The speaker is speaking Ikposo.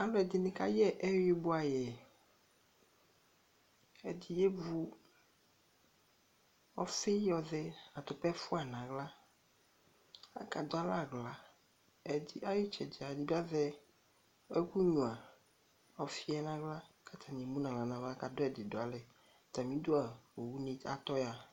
Alʋɛdini hayɛ eyui bua yɛ, ɛdi evu ɔfi tɔxɛ atupa ɛfuɣʋa n'aɣla, aka dʋ alɛ aɣla, Ayitsɛdi edigbo azɛ ɛku gnua ɔfi yɛ n'aɣla katani ɛmu nʋ aɣla n'ava kadʋ ɛdi dʋ alɛ, atamidu a, owuni atɔ ya